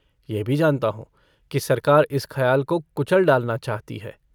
यह भी जानता हूँ कि सरकार इस खयाल को कुचल डालना चाहती है।